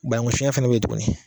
Banankun sɔnɲɛ fana bɛ yen tuguni.